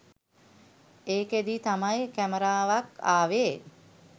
එකේදී තමයි කැමරාවක් ආවේ.